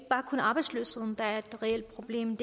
er arbejdsløshed der er et reelt problem